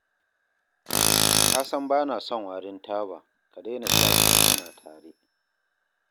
Ka san ba na son warin taba, ka daina sha idan muna tare